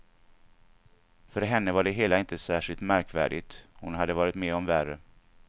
För henne var det hela inte särskilt märkvärdigt, hon hade varit med om värre.